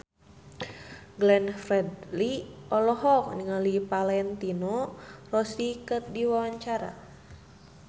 Glenn Fredly olohok ningali Valentino Rossi keur diwawancara